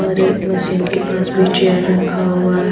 और मशीन के पास भी चेयर रखा हुआ है।